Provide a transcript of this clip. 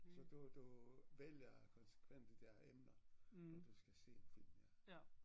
Så du du vælger konsekvent de der emner når du skal se en film ja